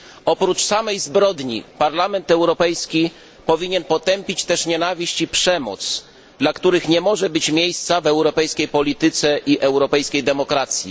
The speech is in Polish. Oprócz samej zbrodni Parlament Europejski powinien też potępić nienawiść i przemoc, dla których nie może być miejsca w europejskiej polityce i europejskiej demokracji.